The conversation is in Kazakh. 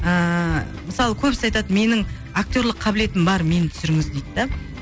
ыыы мысалы көбісі айтады менің актерлік қабілетім бар мені түсіріңіз дейді де